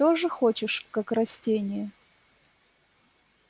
тоже хочешь как растение